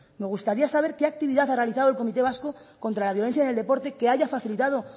me gustaría saber qué actividad ha realizado el comité vasco contra la violencia en el deporte que haya facilitado